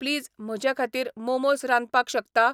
Please म्हजेखातीर मोमोस रांदपाक शकता?